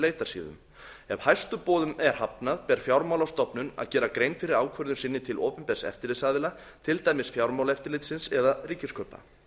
leitarsíðum ef hæstu boðum er hafnað ber fjármálastofnun að gera grein fyrir ákvörðun sinni til opinbers eftirlitsaðila til dæmis fjármálaeftirlitsins eða ríkiskaupa